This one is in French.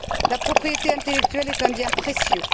La propriété intellectuelle est un bien précieux.